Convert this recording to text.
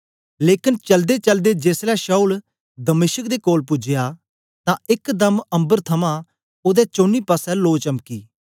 लेकन चलदेचलदे जेसलै शाऊल दमिश्क दे कोल पूजया तां एक दम्म अम्बर थमां ओदे चौनी पासे लो चमकी